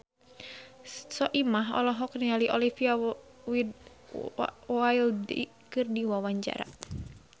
Soimah olohok ningali Olivia Wilde keur diwawancara